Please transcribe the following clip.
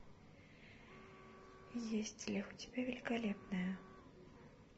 есть ли у тебя великолепная